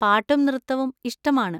പാട്ടും നൃത്തവും ഇഷ്ടമാണ്.